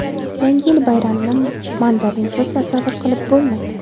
Yangi yil bayramini mandarinsiz tasavvur qilib bo‘lmaydi.